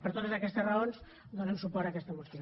per totes aquestes raons donem suport a aquesta moció